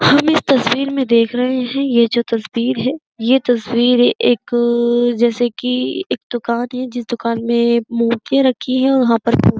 हम इस तस्वीर में देख रहे है यह जो तस्वीर है ये तस्वीर एक जैसे कि एक दुकान है। जिस दुकान में मूर्ति रखी है और वहां पर --